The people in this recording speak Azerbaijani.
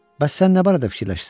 Bəs sən nə barədə fikirləşirsən?